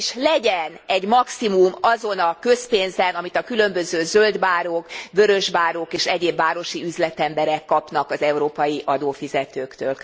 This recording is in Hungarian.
Igenis legyen egy maximum azon a közpénzen, amit a különböző zöldbárók, vörösbárók és egyéb városi üzletemberek kapnak az európai adófizetőktől!